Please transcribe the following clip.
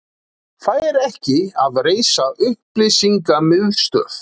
Fær ekki að reisa upplýsingamiðstöð